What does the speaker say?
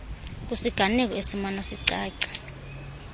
kwisiganeko esimana sicaca